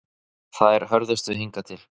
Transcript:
Þær hörðustu hingað til